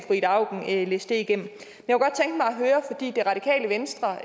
ida auken læse det igennem det radikale venstre